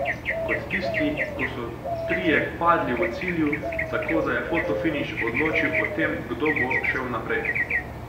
Kot tisti, ko so trije padli v cilju, tako da je fotofiniš odločil o tem, kdo bo šel naprej.